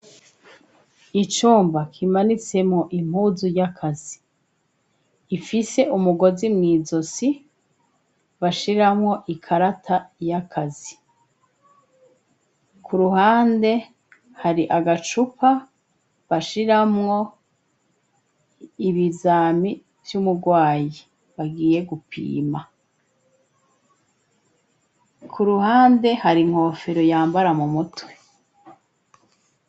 Icumba kimanitsemwo impuzu y'akazi ifise umugozi mw'izosi bashiramwo ikarata y'akazi, kuruhande hari agacupa bashiramwo ibizami vy'umurwayi bagiye gupima, ku ruhande hari inkofero yambara mu mutwe.